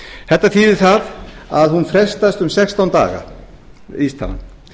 þetta þýðir það að hún frestast um sextán daga vísitalan